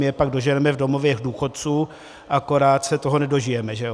My je pak doženeme v domovech důchodců, akorát se toho nedožijeme, že jo.